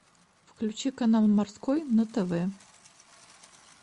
включи канал морской на тв